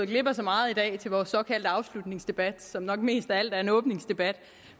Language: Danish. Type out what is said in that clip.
glip af så meget i dag til vores såkaldte afslutningsdebat som nok mest af alt er en åbningsdebat